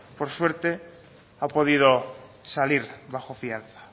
por suerte han podido salir bajo fianza